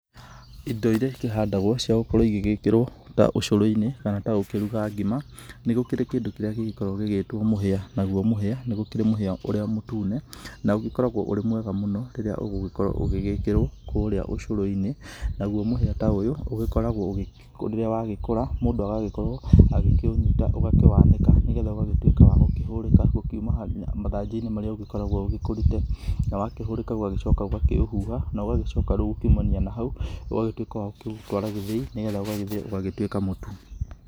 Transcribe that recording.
Indo iria ikĩhandagwo ciagũkorwo igĩgĩkĩrwo ta ũcũrũ-inĩ kana ta gũkĩruga ngima nĩ gũkĩrĩ kĩndũ kĩrĩa gĩgĩkoragwo gĩgĩtwo mũhĩa. Naguo mũhĩa nĩ gũkĩrĩ mũhĩa ũrĩa mũtune na ũgĩkoragwo ũrĩ mwega mũno rĩrĩa ũgũgĩkorwo ũgĩgĩkĩrwo kũrĩa ũcũrũ-inĩ. Naguo mũhĩa ta ũyũ ũgĩkoragwo rĩrĩa wagĩkũra mũndũ agĩkĩunyita ũgakĩwanĩka nĩ getha ũgagĩtuĩka wa gũkĩhũrĩka. Gũkiuma mathangũ-inĩ marĩa ũgĩkoragwo ũkĩrĩ, na wakĩhũrĩka ũgacoka ũgakĩũhuha. Na ũgagĩcoka rĩu kumania na hau ũgagĩtuĩka wa gũkĩũtwara gĩthĩi nĩ getha ũgagĩthĩo ũgagĩtuĩka mũtu.